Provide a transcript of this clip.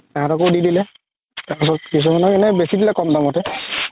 সেহেতও দি দিলে তাৰ পিছত কিছুমানৰ এনে বেচি দিলে ক'ম দামতে